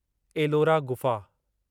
एलोरा गुफ़ा